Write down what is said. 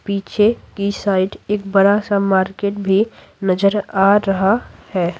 पीछे की साइड एक बड़ा सा मार्केट भी नजर आ रहा है।